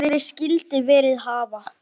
Sem aldrei skyldi verið hafa.